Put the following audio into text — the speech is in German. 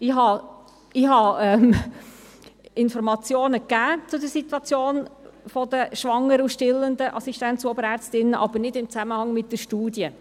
Ich habe Informationen zur Situation der schwangeren und stillenden Assistenz- und Oberärztinnen gegeben, aber nicht im Zusammenhang mit der Studie.